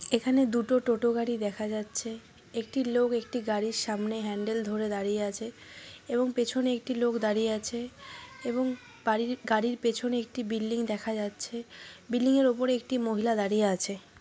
এখানে দুটো টোটা গাড়ি দেখা যাচ্ছে। একটি লোক একটি গাড়ির সামনে হান্ডেল ধরে দাঁড়িয়ে আছে এবং পিছনে একটি লোক দাঁড়িয়ে আছে এবং বাড়ির গাড়ির পিছনে একটি বিল্ডিং দেখা যাচ্ছে বিল্ডিং ওপরে একটি মহিলা দাঁড়িয়ে আছে।